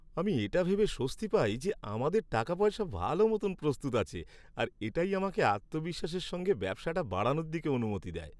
আমি এটা ভেবে স্বস্তি পাই যে আমাদের টাকাপয়সা ভালো মতন প্রস্তুত আছে আর এটাই আমাকে আত্মবিশ্বাসের সঙ্গে ব্যবসাটা বাড়ানোর দিকে অনুমতি দেয়।